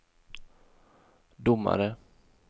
domare